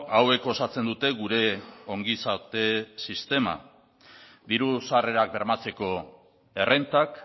hauek osatzen dute gure ongizate sistema diru sarrerak bermatzeko errentak